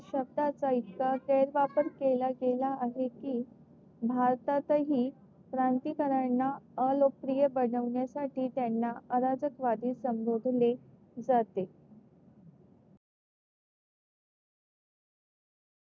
शब्दाचा इतका गैरवापर केला गेला आहे कि भारतात हि क्रांतिकार्याना अलोकप्रिय बनवण्यासाठी त्यांना अराजकवाडी संबोधले जाते.